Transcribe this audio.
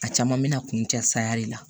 A caman bɛna kun cɛ saya de la